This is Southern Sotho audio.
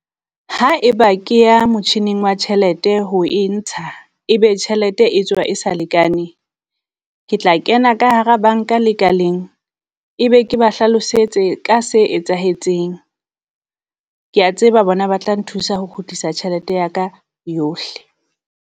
Haeba ke ya motjhining wa tjhelete ho e ntsha, ebe tjhelete e tswa e sa lekane. Ke tla kena ka hara banka lekaleng ebe ke ba hlalosetse ka se etsahetseng, kea tseba bona ba tla nthusa ho kgutlisa tjhelete ya ka yohle.